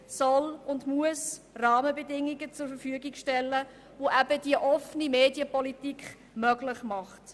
Die Politik soll und muss hier Rahmenbedingungen zur Verfügung stellen, welche eben diese offene Medienpolitik möglich macht.